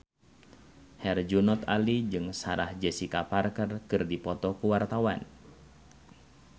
Herjunot Ali jeung Sarah Jessica Parker keur dipoto ku wartawan